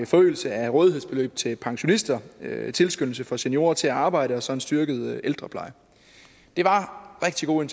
forøgelse af rådighedsbeløbet til pensionister tilskyndelse for seniorer til at arbejde og så en styrket ældrepleje det var rigtig gode